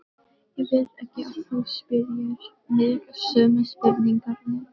Ég vil ekki að þú spyrjir mig sömu spurningarinnar.